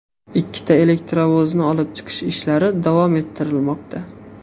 Ikkita elektrovozni olib chiqish ishlari davom ettirilmoqda.